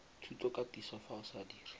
thutokatiso fa o sa dire